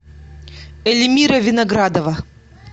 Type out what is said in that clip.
эльмира виноградова